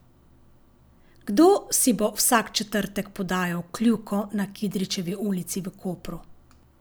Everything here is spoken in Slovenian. Kdo si bo vsak četrtek podajal kljuko na Kidričevi ulici v Kopru?